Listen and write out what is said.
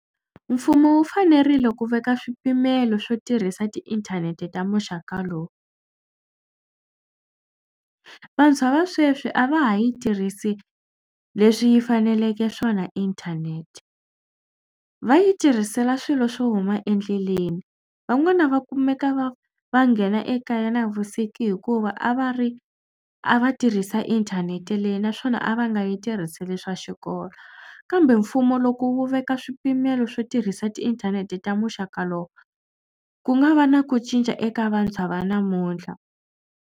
Mfumo wu fanerile ku veka swipimelo swo tirhisa tiinthanete ta muxaka lowu. Vantshwa va sweswi a va ha yi tirhisi leswi yi faneleke swona inthanete. Va yi tirhisela swilo swo huma endleleni. Van'wana va kumeka va va nghena ekaya navusiku hikuva a va ri a va tirhisa inthanete leyi naswona a va nga yi tirhiseli swa xikolo kambe mfumo loko wu veka swipimelo swo tirhisa tiinthanete ta muxaka lowu ku nga va na ku cinca eka vantshwa va namuntlha.